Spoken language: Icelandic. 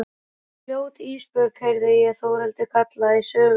Fljót Ísbjörg, heyri ég Þórhildi kalla í sömu mund.